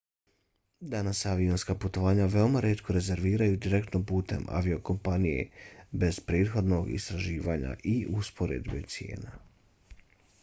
danas se avionska putovanja veoma rijetko rezerviraju direktno putem aviokompanije bez prethodnog istraživanja i usporedbe cijena